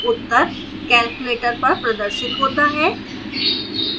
उत्तर calculator पर प्रदर्शित होता है